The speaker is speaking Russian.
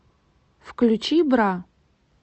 включи бра